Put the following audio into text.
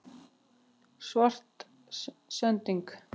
Svartsengi